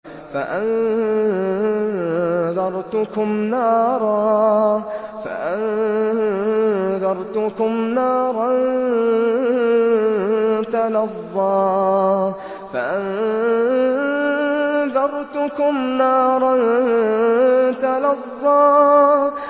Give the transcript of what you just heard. فَأَنذَرْتُكُمْ نَارًا تَلَظَّىٰ